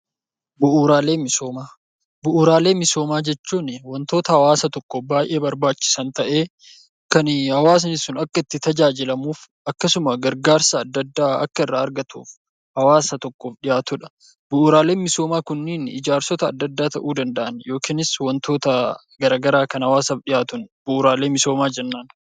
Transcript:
Bu'uuraalee misoomaa Bu'uuraalee misoomaa jechuun waantota hawaasa tokkoof baayyee barbaachisan ta'ee kan hawaasti itti tajaajilamuu fi akkasumas tajaajila addaa addaa akka irraa argatuuf hawaasa tokkoof dhihaatudha. Bu'uuraalee misoomaa Kunniin ijaarsota addaa addaa ta'uu danda'u yookaan waantota garaagaraa hawaasaaf dhihaatan bu'uuraalee misoomaa jennaan.